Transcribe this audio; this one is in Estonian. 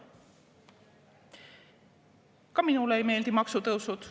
Ka minule ei meeldi maksutõusud.